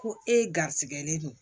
Ko e garrisigɛlen don